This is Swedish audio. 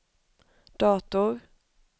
dator